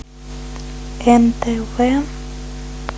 нтв